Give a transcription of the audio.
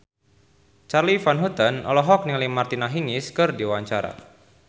Charly Van Houten olohok ningali Martina Hingis keur diwawancara